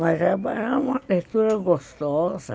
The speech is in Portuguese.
Mas era uma leitura gostosa.